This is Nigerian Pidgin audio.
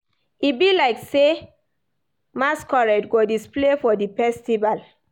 E be like sey masquerade go display for di festival.